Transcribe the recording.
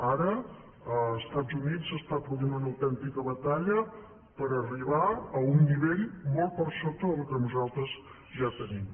ara als estats units s’està produint una autèntica batalla per arribar a un nivell molt per sota del que nosaltres ja tenim